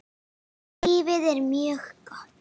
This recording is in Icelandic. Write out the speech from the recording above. Lífið er mjög gott.